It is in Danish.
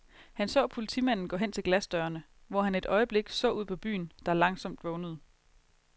Han så politimanden gå hen til glasdørene, hvor han et øjeblik så ud på byen, der langsomt vågnede.